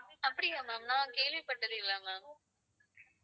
அப்படியா ma'am நான் கேள்விப்பட்டது இல்ல ma'am